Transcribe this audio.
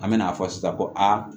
An bɛ n'a fɔ sisan ko a